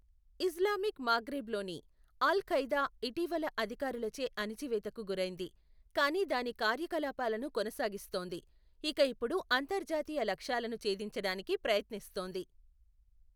Islamic మాగ్రెబ్లోని Al Qaeda ఇటీవల అధికారులచే అణిచివేతకు గురైంది, కానీ దాని కార్యకలాపాలను కొనసాగిస్తోంది ఇక ఇప్పుడు అంతర్జాతీయ లక్ష్యాలను చేధించడానికి ప్రయత్నిస్తోంది.